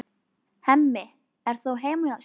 Hemmi er þó heima hjá sér.